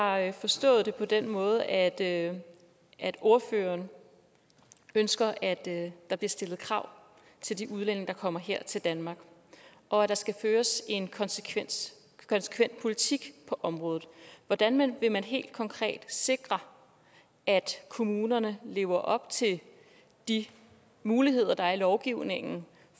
jeg har forstået det på den måde at ordføreren ønsker at der bliver stillet krav til de udlændinge der kommer her til danmark og at der skal føres en konsekvent politik på området hvordan vil man helt konkret sikre at kommunerne lever op til de muligheder der er i lovgivningen